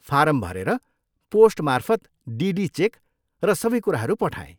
Form भरेर, पोस्टमार्फत DD cheque र सबै कुराहरू पठाएँ।